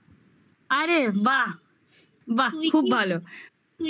আরে বাহ বাহ খুব ভালো